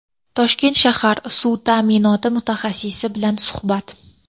Toshkent shahar suv ta’minoti mutaxassisi bilan suhbat.